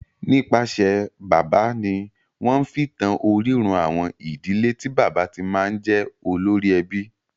Nípasẹ̀ bàbá ni wọ́n fi ń tan orírun àwọn ìdílé tí bàbá ti máa ń jẹ́ olórí ẹbí.